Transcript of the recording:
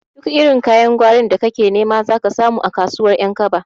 Duk irin kayan gwarin da kake nema zaka samu a kasuwar ƴankaba